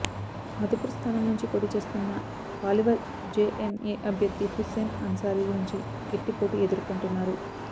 మధుపుర్ స్థానం నుంచి పోటీ చేస్తున్న పాలివార్ జేఎంఎం అభ్యర్థి హుస్సేన్ అన్సారీ నుంచి గట్టిపోటీ ఎదుర్కొంటున్నారు